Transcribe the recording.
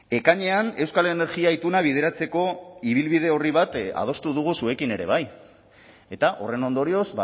ekainean euskal energia ituna bideratzeko ibilbide orri bat adostu dugu zuekin ere bai eta horren ondorioz